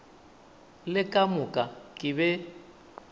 le ka moka ke be